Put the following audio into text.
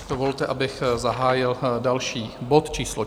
Dovolte, abych zahájil další bod číslo